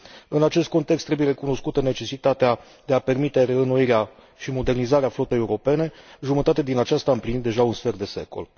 În acest context, trebuie recunoscută necesitatea de a permite reînnoirea și modernizarea flotei europene, jumătate din aceasta împlinind deja un sfert de secol.